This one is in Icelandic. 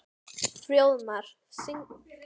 Fróðmar, spilaðu lag.